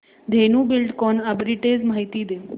Dhenu Buildcon arbitrage माहिती दे